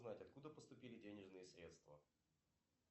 знать откуда поступили денежные средства